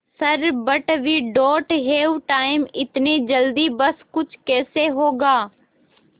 sir but we don't have time इतनी जल्दी सब कुछ कैसे होगा